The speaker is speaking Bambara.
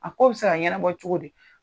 A ko bɛ se ka ɲɛnɛbɔ cogo di